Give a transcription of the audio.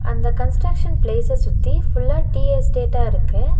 அந்த கன்ஸ்டிரக்ஷன் பிளேஸ்ச சுத்தி ஃபுல்லா டி எஸ்டேட்டா இருக்கு.